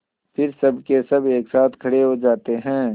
फिर सबकेसब एक साथ खड़े हो जाते हैं